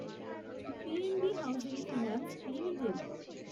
PNB housing finance limited